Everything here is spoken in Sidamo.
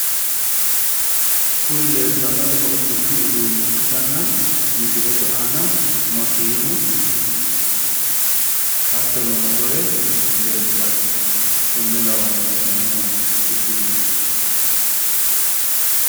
Kuni leeltannori hodhishu uduunne ikkitanna misilete aana makeenu hattono motore leeltanno konne lawannohu lellanno hodhishshu uduunneeti.